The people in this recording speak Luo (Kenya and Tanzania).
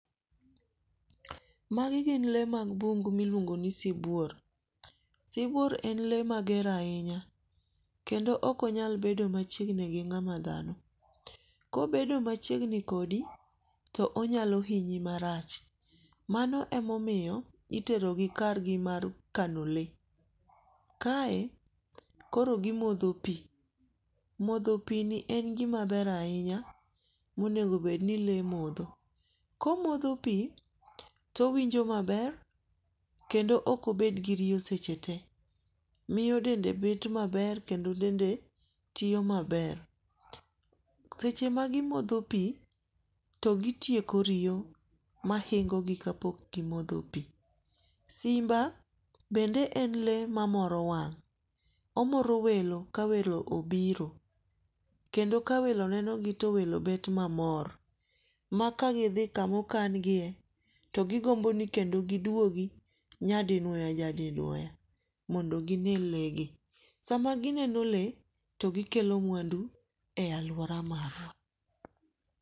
Magi gin le mag bungu miluong'o ni sibuor. Sibuor en le mager ahinya. Kendo ok onyal bedo machiegni gi ng'ama dhano. Kobedo machiegni kodoi to onyalo hinyi marach. Mano e momiyo itero gi kar gi mar kano le. Kae koro gimodho pi. Modho pi ni en gima ber ahinya monego bed ni le modho. Komodho pi, towinjo maber kendo ok obed gi riyo seche te miyo dende bet maber kendo dende tiyo maber. Seche ma gimodho pi to gitieko riyo mahingo gi kapok gimodho pi. Simba bende en le mamoro wang'. Omoro welo ka welo obiro. Kendo ka welo nenogi to welo bet mamor. Ma ka gi dhi kamo kangie to gigombo ni kendo giduogi nya dinuoya nya dinuoya mondo gine le gi. Sama gineno le to gikelo mwandu e aluora warwa.